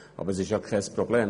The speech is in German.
Aber das ist ja kein Problem.